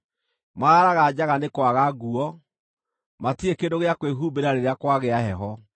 Maraaraga njaga nĩ kwaga nguo; matirĩ kĩndũ gĩa kwĩhumbĩra rĩrĩa kwagĩa heho.